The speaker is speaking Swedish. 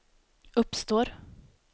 uppstår